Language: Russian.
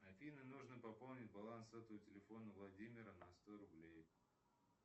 афина нужно пополнить баланс сотового телефона владимира на сто рублей